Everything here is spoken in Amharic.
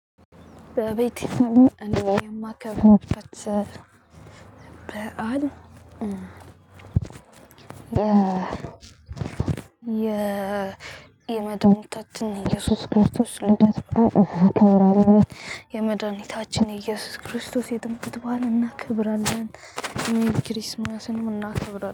በቤቴ ሆኜ እኔ የሚከብርበት በዓል የ የ የመድኃኒታችን ኢየሱስ ክርስቶስ ልደት በዓል እናከብራለን። የመድኃኒታችን ኢየሱስ ክርስቶስ የጥምቀት በዓል እናክብራለን። ሜሪክሪስመስንም እናክብራለን